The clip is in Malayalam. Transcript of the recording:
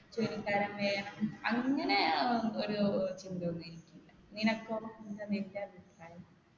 ജോലിക്കാരൻ വേണം അങ്ങനെ ഏർ ഒരു ചിന്തയൊന്നും എനിക്കില്ല നിനക്കോ എന്താ നിന്റെ അഭിപ്രായം